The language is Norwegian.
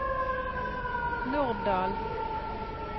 Norddal